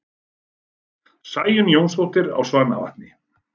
Sæunn Jónsdóttir á Svanavatni